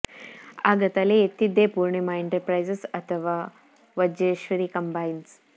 ಆಗ ತಲೆ ಎತ್ತಿದ್ದೇ ಪೂರ್ಣಿಮಾ ಎಂಟರ್ ಪ್ರೈಸಸ್ ಅಥವಾ ವಜ್ರೇಶ್ವರಿ ಕಂಬೈನ್ಸ್